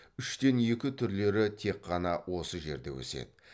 үштен екі түрлері тек қана осы жерде өседі